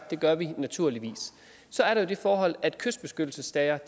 det gør vi naturligvis så er der det forhold at kystbeskyttelsessager